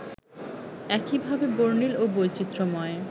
একইভাবে বর্ণিল ও বৈচিত্র্যময়